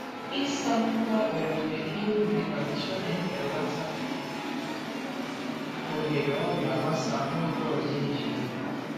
Ịsa ngwa owuwe ihe ubi na ncha na-ebelata ohere ọrịa gbasaa n’oge ọzọ eji ya.